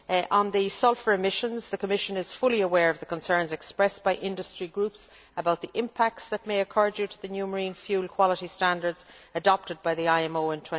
On sulphur emissions, the Commission is fully aware of the concerns expressed by industry groups about the impacts that may occur due to the new marine fuel quality standards adopted by the IMO in